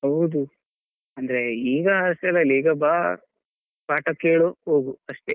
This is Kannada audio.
ಹೌದು ಅಂದ್ರೆ ಈಗ ಬಾ ಪಾಠ ಕೇಳು ಹೋಗು ಅಷ್ಟೇ.